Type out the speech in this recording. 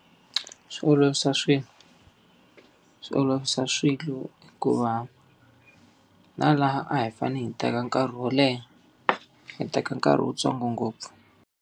Swi olovisa swilo. Swi olovisa swilo hikuva na laha a hi fanele hi teka nkarhi wo leha, hi teka nkarhi wuntsongo ngopfu.